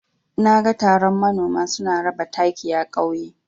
Naga taron manoma suna raba taki a ƙauye.